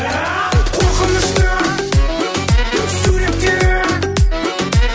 қорқынышты суреттері